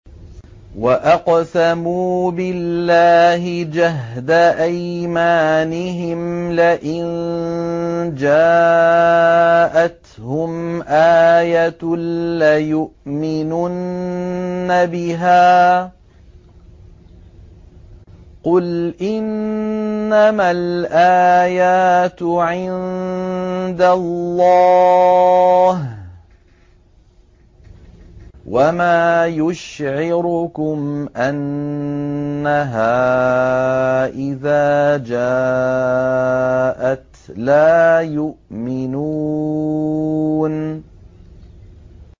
وَأَقْسَمُوا بِاللَّهِ جَهْدَ أَيْمَانِهِمْ لَئِن جَاءَتْهُمْ آيَةٌ لَّيُؤْمِنُنَّ بِهَا ۚ قُلْ إِنَّمَا الْآيَاتُ عِندَ اللَّهِ ۖ وَمَا يُشْعِرُكُمْ أَنَّهَا إِذَا جَاءَتْ لَا يُؤْمِنُونَ